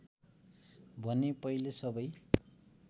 भने पहिले सबै